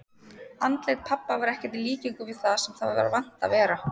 Andlit pabba var ekkert í líkingu við það sem það var vant að vera.